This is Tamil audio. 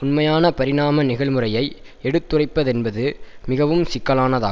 உண்மையான பரிணாம நிகழ்முறையை எடுத்துரைப்பதென்பது மிகவும் சிக்கலானதாகும்